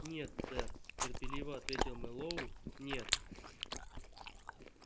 нет сэр терпеливо ответил мэллоу нет